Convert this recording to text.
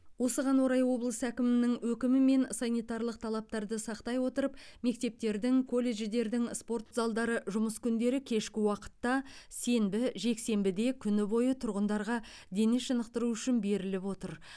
осыған орай облыс әкімінің өкімімен санитарлық талаптарды сақтай отырып мектептердің колледждердің спорт залдары жұмыс күндері кешкі уақытта сенбі жексенбіде күні бойы тұрғындарға дене шынықтыру үшін беріліп отыр